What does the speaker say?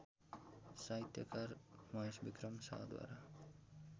साहित्यकार महेशविक्रम शाहद्वारा